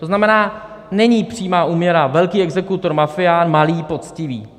To znamená, není přímá úměra velký exekutor - mafián, malý - poctivý.